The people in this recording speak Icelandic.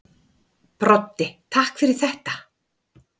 Broddi: Takk fyrir þetta.